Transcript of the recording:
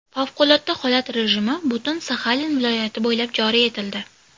Favqulodda holat rejimi butun Saxalin viloyati bo‘ylab joriy etildi.